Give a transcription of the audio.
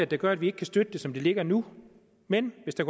der gør vi ikke kan støtte det som det ligger nu men hvis der